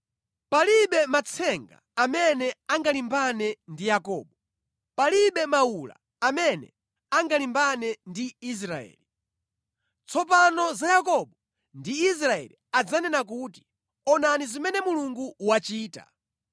Palibe matsenga amene angalimbane ndi Yakobo, palibe mawula amene angalimbane ndi Israeli. Tsopano za Yakobo ndi Israeli adzanena kuti, ‘Onani zimene Mulungu wachita!’